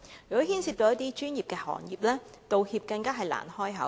如果牽涉一些專業行業，道歉更難以啟齒。